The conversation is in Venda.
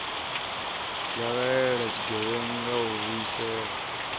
ya laela tshigevhenga u vhuisela